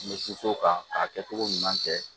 N bɛ se o kan k'a kɛ cogo ɲuman kɛ